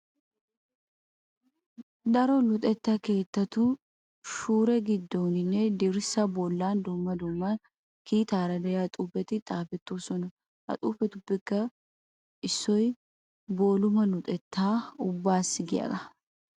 Daro luxetta keettatu shuure giddooninne dirssaa bollan dumma dumma kiitaara de'iya xuufeti xaafettoosona. Ha xuufetuppe issoy booluma luxettaa ubbaassi giyagaa.